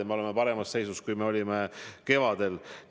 Ja me oleme paremas seisus, kui me olime kevadel.